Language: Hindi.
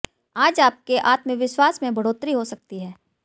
आज आपके आत्मविश्वास में बढ़ोतरी हो सकती है